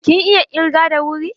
Kin iya ƙirga da wuri?